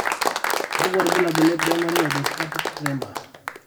kakwa irbulabol le Primary orthostatic tremor ?